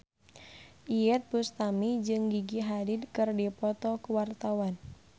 Iyeth Bustami jeung Gigi Hadid keur dipoto ku wartawan